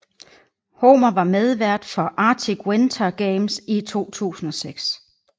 Homer var medvært for Arctic Winter Games i 2006